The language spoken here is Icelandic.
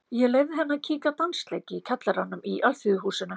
Ég leyfði henni að kíkja á dansleik í kjallaranum í Alþýðuhúsinu.